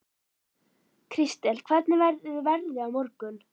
Kristel, hvernig verður veðrið á morgun?